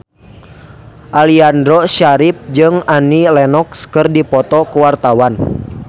Aliando Syarif jeung Annie Lenox keur dipoto ku wartawan